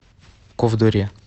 ковдоре